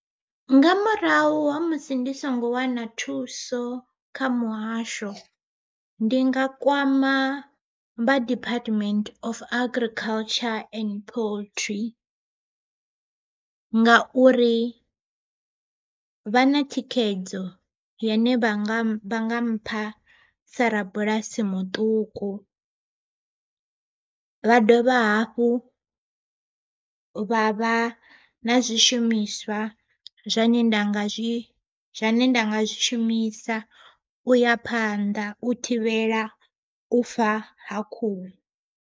Nga murahu ha musi ndi songo wana thuso kha muhasho, ndi nga kwama vha Department Of Agriculture And Poultry ngauri vha na thikhedzo yane vha nga mpha sa rabulasi muṱuku. Vha dovha hafhu vha vha na zwishumiswa zwane nda nga zwi zwane nda nga zwishumisa uya phanḓa u thivhela u fa ha khuhu.